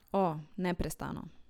O, neprestano.